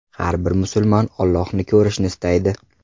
Har bir musulmon Ollohni ko‘rishni istaydi.